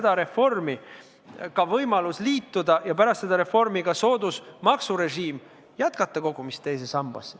Pärast seda reformi on ka võimalus sellega liituda ja kasutada soodusmaksurežiimi, kogudes raha teise sambasse.